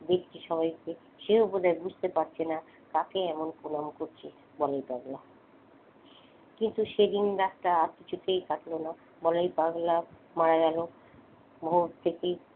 দেখছে সবাইকে সেও বোধহয় বুঝতে পারছেনা কাকে এমন প্রণাম করছে বলায় পাগলা কিন্তু সেদিন রাতটা আর কিছুতেই কাটলো না বলায় পাগলা মারা গেল। ভোর থেকেই,